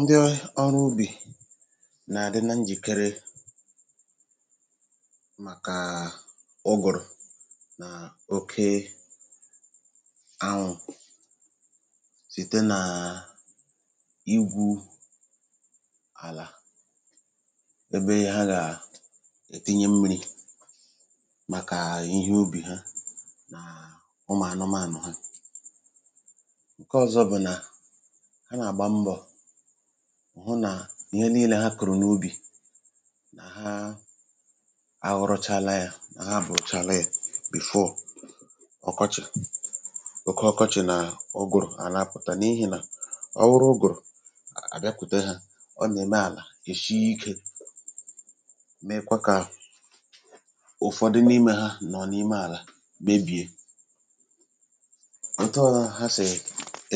Ndị ọrụ́ ubi na-adịkarị njikere tupù ụ̀gụ̀rụ̀ na oke ànwụ́ site n’ígwú àlà n’ebe ha gà-edọ̀pụta mmírī maka ihe ubi ha na maka ụmụ̀ anụ́manụ ha. Ụzọ̀ ọzọ̀ nke ha na-eme njikere bụ́ na ha na-akụ́ ihe ubi ha niile tupù oge ka ha nwee ike itò ma ka e wepụtara ha tupù oke ọkọ́chị. Nke a bụ n’ihi na mgbe ụ̀gụ̀rụ̀ bịara ọ na-eme ka àlà sie ike ma na-emekwa ka ụfọdụ n’ime ihe ubi n’ime ubi bibie. Mgbe nke a mere ndị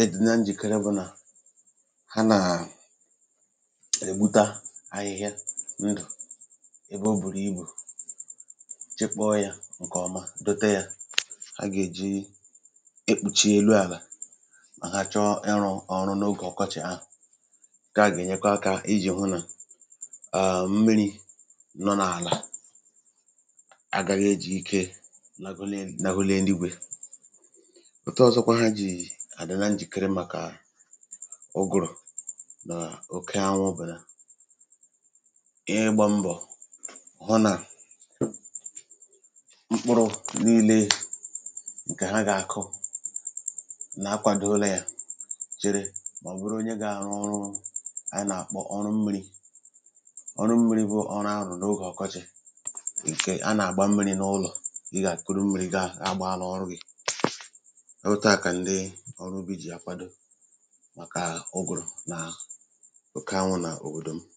ọrụ́ ubi na-etinye ihe dịká dòtè ma ọ bụ̀ sawdust n’elu àlà um iji chekwaa ya ọ̀kàchàsi mgbe ha chọrọ ịrụ́ ọrụ ubi n’oge ọkọ́chị. Nke a na-enyere aka hụ́ na obere mmírī dị n’ime àlà agaghị akpọnwụ ngwa ngwa. Ụzọ̀ ọzọ ha si eji arụ́ njikere maka oge ànwụ́ bụ́ site n’ịhụ́ na mkpụrụ̀ niile nke ha ga-akụ́ dị njikere ma dịkwa n’aka. Ha na-eme njikere maka ịgba mmírī n’ihi na ịgba mmírī bụ́ ụdị ọrụ́ a na-arụ́ n’oge ọkọ́chị. Ịgba mmírī chọrọ ka a bù mmírī si n’ụlọ̀ gaa n’ubi um ma nke a nwere ike ịdị́ oke ike. Otu a ka ndị ọrụ́ ubi n’òbòdò m si arụ́ njikere maka ụ̀gụ̀rụ̀ na oke ànwụ́.